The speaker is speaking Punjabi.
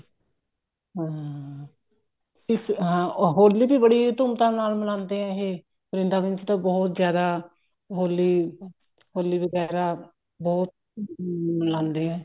ਹਾਂ ਹੋਲੀ ਵੀ ਬੜੀ ਧੂਮ ਧਾਮ ਨਾਲ ਮਨਾਉਂਦੇ ਆ ਇਹ ਵਰਿੰਦਾਵਣ ਚ ਤਾਂ ਬਹੁਤ ਜਿਆਦਾ ਹੋਲੀ ਹੋਲੀ ਵਗੈਰਾ ਬਹੁਤ ਉਮ ਮੰਨਾਉਂਦੇ ਐ